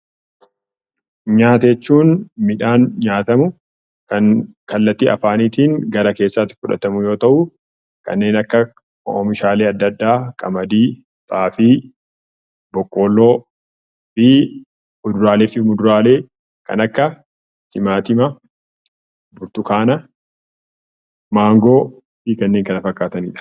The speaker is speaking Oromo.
Nyaata jechuun midhaan nyaatamu, kan kallattii afaaniitiin gara keessaatti fudhatamu yoo ta'u, kanneen akka: oomishaalee adda addaa: qamadii, xaafii boqqolloo fi kuduraalee fi muduraalee kan akka: timaatima, maangoo fi kanneen kana fakkaatanidha.